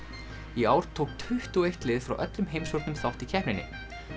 í ár tók tuttugu og eitt lið frá öllum heimshornum þátt í keppninni